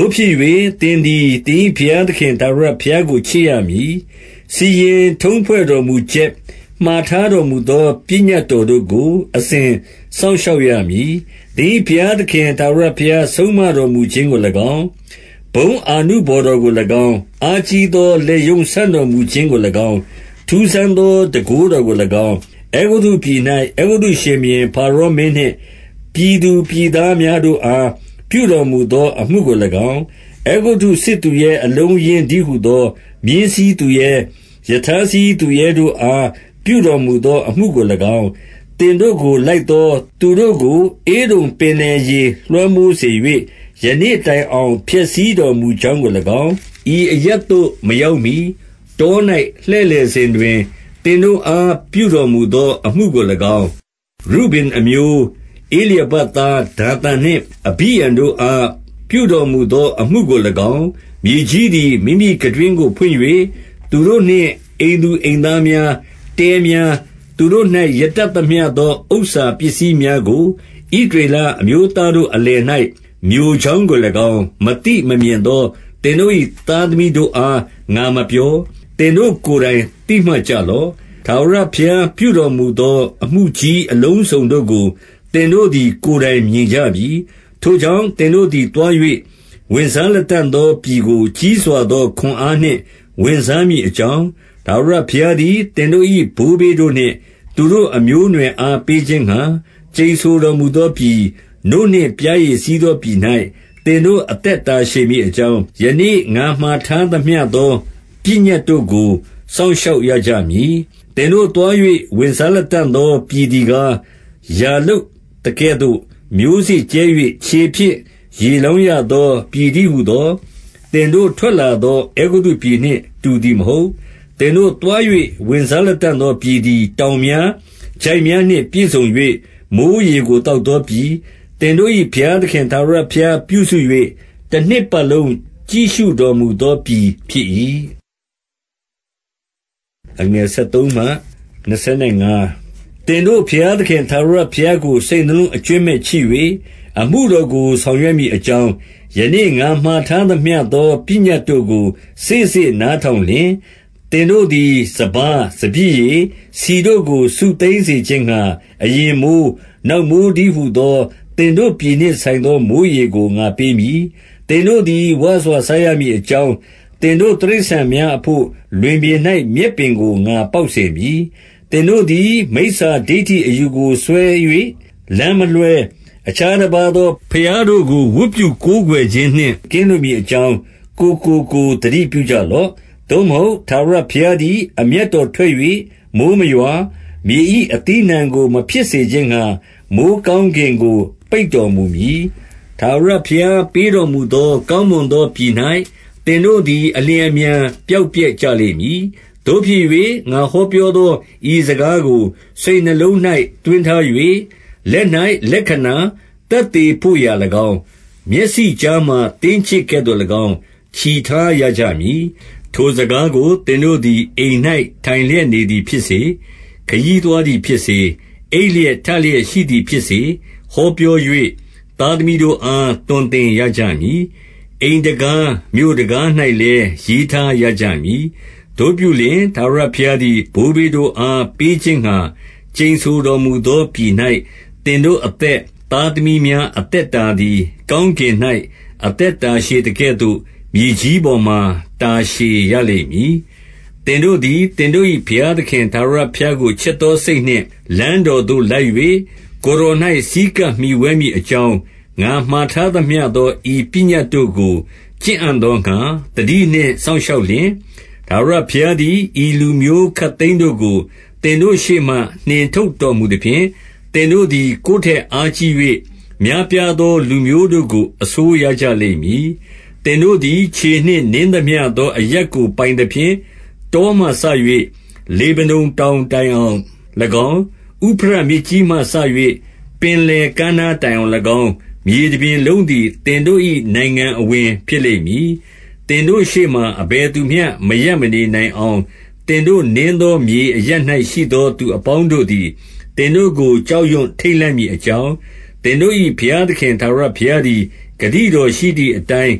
ို့ဖြစ်၍ သင်သည် သင်၏ဘုရားသခင် ထာဝရ ဘုရားကို ချစ်ရမည်။ စီရင်ထုံးဖွဲ့တော်မူချက်၊ မှာထား တော်မူသော ပညတ်တော်တို့ကို အစဉ်စောင့်ရှောက် ရမည်။ 2 သင်၏ဘုရားသခင် ထာဝရဘုရား ဆုံးမတော်မူ ခြင်းကို၎င်း၊ ဘုန်းအာနုဘော်တော်ကို၎င်း၊ အားကြီးသော လက်ရုံးဆန့်တော်မူခြင်းကို၎င်း၊ 3 ထူးဆန်းသော တန်ခိုးတော်ကို၎င်း၊ အဲဂုတ္တုပြည် ၌၊ အဲဂုတ္တုရှင်ဘုရင် ဖါရောမင်းနှင့် ပြည်သူပြည်သား များတို့အား ပြုတော်မူသော အမှုကို၎င်း၊ 4 အဲဂုတ္တုစစ်သူရဲ အလုံးအရင်းတည်းဟူသော မြင်းစီးသူရဲ၊ ရထားစီးသူရဲတို့အား ပြုတော်မူသော အမှုကို ၎င်း၊ သင်တို့ကိုလိုက်သော သူတို့ကို ဧဒုံပင်လယ်ရေ လွှမ်းမိုးစေ၍၊ ယနေ့တိုင်အောင် ဖျက်ဆီးတော်မူကြောင်း ကို၎င်း၊ 5 ဤအရပ်သို့ မရောက်မှီ၊ တော၌ လှည့်လည်စဉ် တွင် သင်တို့အား ပြုတော်မူသော အမှုကို၎င်း၊ 6 ရုဗင်အမျိုး၊ ဧလျာဘသားဒါသန်နှင့် အဘိရံတို့ အား ပြုတော်မူသောအမှုကို၎င်း၊ မြေကြီးသည် မိမိ ခံတွင်းကို ဖွင့်၍ သူတို့နှင့် အိမ်သူအိမ်သားများ၊ တဲများ၊ သူတို့၌ ရတတ်သမျှသော ဥစ္စာပစ္စည်းများကို၊ ဣသရေလ အမျိုးသားတို့ အလယ်၌၊ မျိုကြောင်းကို၎င်း မသိမမြင် သော သင်တို့၏ သားသမီးတို့အား ငါမပြော၊ သင်တို့ကိုယ် တိုင် သိမှတ်ကြလော့။ 7 ထာဝရဘုရားပြုတော်မူသော အမှုကြီးအလုံးစုံ တို့ကို သင်တို့သည် ကိုယ်တိုင်မြင်ကြပြီ။ 8 ထို့ကြောင့်၊ သင်တို့သည်သွား၍ ဝင်စားလတံ့ သောပြည်ကို ကြီးစွာသောခွန်အားနှင့် ဝင်စားမည် အကြောင်း၊ 9 ထာဝရဘုရားသည် သင်တို့၏ ဘိုးဘေးတို့နှင့် သူတို့အမျိုးအနွယ်အား ပေးခြင်းငှာ ကျိန်ဆိုတော်မူသော ပြည်၊ နို့နှင့်ပျားရည်စီးသောပြည်၌ သင်တို့အသက် တာရှည်မည်အကြောင်း၊ ယနေ့ ငါမှာထားသမျှသော ပညတ်တို့ကို စောင့်ရှောက်ရကြမည်။ 10 သင်တို့သွား၍ ဝင်စားလတံ့သော ပြည်သည် ကား၊ ယာလုပ်သကဲ့သို့ မျိုးစေ့ကြဲ၍ ခြေဖြင့်ရေလောင်း ရသော ပြည်တည်းဟူသော သင်တို့ထွက်လာသော အဲဂုတ္တုပြည်နှင့် တူသည်မဟုတ်။ 11 သင်တို့သွား၍ ဝင်စားလတံ့သောပြည်သည် တောင်များ၊ ချိုင့်များနှင့် ပြည့်စုံ၍ မိုဃ်းရေကို သောက် သောပြည်၊ 12 သင်တို့၏ဘုရားသခင် ထာဝရဘုရားပြုစု၍ တနှစ်ပတ်လုံး ကြည့်ရှုတော်မူသောပြည် ဖြစ်၏။ 13 သင်တို့ဘုရားသခင် ထာဝရဘုရားကို စိတ်နှလုံး အကြွင်းမဲ့ချစ်၍ အမှုတော်ကို ဆောင်ရွက်မည် အကြောင်း၊ ယနေ့ ငါမှာထားသမျှသော ပညတ်တို့ကို စေ့စေ့နားထောင်လျှင်၊ 14 သင်တို့သည် စပါး၊ စပျစ်ရည်၊ ဆီတို့ကို စုသိမ်း စေခြင်းငှာ အရင်မိုဃ်း၊ နောက်မိုဃ်း တည်းဟူသော သင်တို့ပြည်နှင့်ဆိုင်သော မိုဃ်းရေကို ငါပေးမည်။ 15 သင်တို့သည် ဝစွာစားရမည်အကြောင်း၊ သင်တို့ တိရစ္ဆာန်များအဘို့ လွင်ပြင်၌ မြက်ပင်ကို ငါပေါက်စေ မည်။ 16 သင်တို့သည် မိစ္ဆာဒိဌိအယူကိုစွဲ၍ လမ်းမလွဲ၊ အခြားတပါးသော ဘုရားတို့ကို ဝတ်ပြု၊ ကိုးကွယ်ခြင်းနှင့် ကင်းလွှတ်မည်အကြောင်း၊ ကိုယ်ကိုကိုယ် သတိပြုကြ လော့။ 17 သို့မဟုတ် ထာဝရဘုရားသည် အမျက်တော် ထွက်၍ မိုဃ်းမရွာ၊ မြေ၏အသီးအနှံကို မဖြစ်စေခြင်းငှာ။ မိုဃ်းကောင်းကင်ကို ပိတ်တော်မူမည်။ ထာဝရဘုရား ပေးတော်မူသော ကောင်းမွန်သောပြည်၌ သင်တို့သည် အလျှင်အမြန် ပျောက်ပျက်ကြလိမ့်မည်။ 18 သို့ဖြစ်၍ ငါဟောပြောသော ဤစကားကို စိတ်နှလုံး၌ သွင်းထား၍၊ လက်၌ လက္ခဏာသက်သေ ဘို့ရာ၎င်း၊ မျက်စိကြားမှာ သင်းကျစ်ကဲ့သို့၎င်း ချည်ထားရ ကြမည်။ 19 ထိုစကားကို သင်တို့သည် အိမ်၌ ထိုင်လျက် နေသည်ဖြစ်စေ၊ ခရီးသွားသည်ဖြစ်စေ၊ အိပ်လျက်ထ လျက်ရှိသည်ဖြစ်စေ ဟောပြော၍၊ သားသမီးတို့အား သွန်သင်ရကြမည်။ 20 အိမ်တံခါးမြို့တံခါး၌လည်း ရေးထားရကြမည်။ 21 သို့ပြုလျှင် ထာဝရဘုရားသည် ဘိုးဘေးတို့အား ပေးခြင်းငှာ ကျိန်ဆိုတော်မူသောပြည်၌ သင်တို့အသက်၊ သားသမီးများ အသက်တာသည်၊ ကောင်းကင်၌ အသက် တာ ရှည်သကဲ့သို့၊ မြေကြီးပေါ်မှာ တာရှည်ရလိမ့်မည်။ 22 သင်တို့သည် သင်တို့၏ဘုရားသခင် ထာဝရ ဘုရားကို ချစ်သောစိတ်နှင့် လမ်းတော်သို့လိုက်၍၊ ကိုယ် တော်၌ ဆည်းကပ်မှီဝဲမည်အကြောင်း၊ ငါမှာထားသမျှ သော ဤပညတ်တို့ကို ကျင့်အံ့သောငှာ သတိနှင့် စောင့် ရှောက်လျှင်၊ 23 ထာဝရဘုရားသည် ဤလူမျိုးခပ်သိမ်းတို့ကို သင်တို့ရှေ့မှ နှင်ထုတ်တော်မူသဖြင့်၊ သင်တို့သည် ကိုယ်ထက်အားကြီး၍ များပြားသော လူမျိုးတို့ကို အစိုးရ ကြလိမ့်မည်။ 24 သင်တို့သည် ခြေနှင့်နင်းသမျှသောအရပ်ကို ပိုင်သဖြင့်၊ တောမှစ၍ လေဗနုန်တောင်တိုင်အောင်၎င်း၊ ဥဖရတ်မြစ်ကြီးမှစ၍ ပင်လယ်ကမ်းနား တိုင်အောင်၎င်း၊ မြေတရှောက်လုံးသည် သင်တို့၏ နိုင်ငံအဝင် ဖြစ်လိမ့် မည်။ 25 သင်တို့ရှေ့မှာ အဘယ်သူမျှ မရပ်မနေနိုင် အောင်၊ သင်တို့နင်းသော မြေအရပ်၌ ရှိသောသူ အပေါင်းတို့သည် သင်တို့ကို ကြောက်ရွံ့ ထိတ်လန့်မည် အကြောင်း၊ သင်တို့ ၏ဘုရားသခင် ထာဝရဘုရားသည်၊ ဂတိတော်ရှိသည်အတိုင်း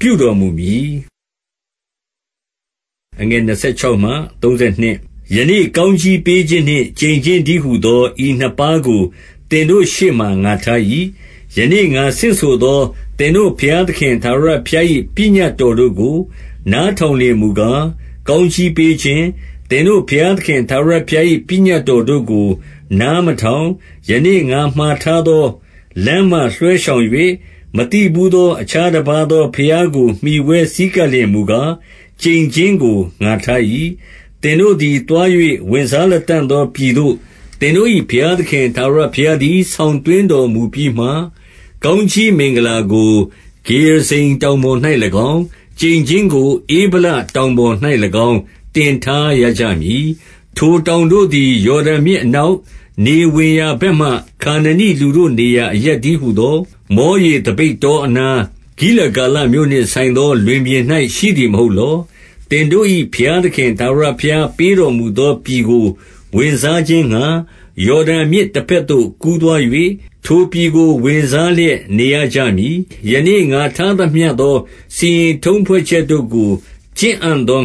ပြုတော်မူမည်။ 26 ယနေ့ ကောင်းကြီးပေးခြင်းနှင့် ကျိန်ခြင်းတည်း ဟူသော ဤနှစ်ပါးကို သင်တို့ရှေ့မှာ ငါထား၏။ 27 ယနေ့ ငါဆင့်ဆိုသော သင်တို့ဘုရားသခင် ထာဝရဘုရား၏ ပညတ်တော်တို့ကို နားထောင်လျှင်မူ ကား၊ ကောင်းကြီးပေးခြင်း၊ 28 သင်တို့ဘုရားသခင် ထာဝရဘုရား၏ ပညတ် တော်တို့ကို နားမထောင်၊ ယနေ့ ငါမှာထားသောလမ်းမှ လွှဲရှောင်၍၊ မသိဘူးသော အခြားတပါးသောဘုရားကို မှီဝဲဆည်း ကပ်လျှင်မူကား ကျိန်ခြင်းကို ငါထား၏။ 29 သင်တို့သည်သွား၍ ဝင်စားလတံ့သောပြည်သို့ သင်တို့၏ ဘုရားသခင် ထာဝရဘုရားသည် ဆောင်သွင်း တော်မူပြီးမှ၊ ကောင်းကြီးမင်္ဂလာကို ဂေရဇိမ် တောင်ပေါ် ၌၎င်း၊ ကျိန်ခြင်းကို ဧဗလတောင်ပေါ်၌၎င်း တင်ထားရ ကြမည်။ 30 ထိုတောင်တို့သည် ယော်ဒန်မြစ်အနောက်၊ နေဝင်ရာဘက်မှာ ခါနနိလူတို့နေရာ အရပ်တည်းဟူ သော၊ မောရေသပိတ်တောအနား၊ ဂိလဂါလမြို့နှင့် ဆိုင်သော လွင်ပြင်၌ ရှိသည်မဟုတ်လော။ 31 သင်တို့၏ဘုရားသခင် ထာဝရဘုရား ပေးတော် မူသော ပြည်ကို ဝင်စားခြင်းငှာ၊ ယော်ဒန်မြစ်တဘက်သို့ ကူးသွား၍၊ ထိုပြည်ကို ဝင်စားလျက် နေရကြမည်။ 32 ယနေ့ ငါထားသမျှသော စီရင်ထုံးဖွဲ့ချက်တို့ကို ကျင့်အံ့သောင